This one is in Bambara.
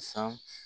San